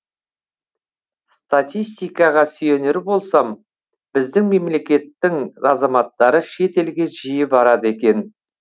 статистикаға сүйенер болсам біздің мемлекеттің азаматтары шетелге жиі барады екен